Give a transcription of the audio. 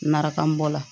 Marakamu bɔ la